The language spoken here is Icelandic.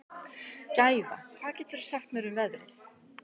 Gæfa, hvað geturðu sagt mér um veðrið?